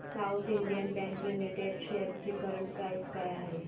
south Indian bank limited shares ची current price काय आहे